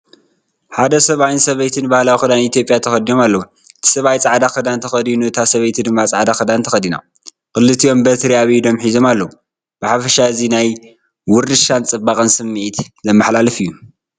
ሓደ ሰብኣይን ሰበይትን ባህላዊ ክዳን ኢትዮጵያ ተኸዲኖም ኣለዉ። እቲ ሰብኣይ ጻዕዳ ክዳን ተኸዲኑ እታ ሰበይቲ ድማ ጻዕዳ ክዳን ተኸዲና ፣ ክልቲኦም በትሪ ኣብ ኢዶም ሒዞም ኣለዉ። ብሓፈሻ እዚ ናይ ውርሻን ጽባቐን ስምዒት ዘመሓላልፍ እዩ።